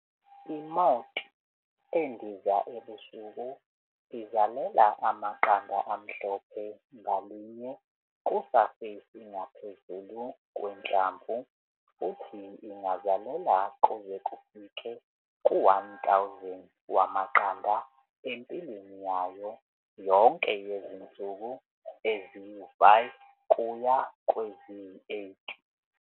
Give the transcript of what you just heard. I-moth endiza ebusuku izalela amaqanda amhlophe ngalinye kusafesi ngaphezulu kwehlamvu futhi ingazalela kuze kufike ku-1 000 wamaqanda empilweni yayo yonke yezinsuku ezi-5 kuya kweziyi-8.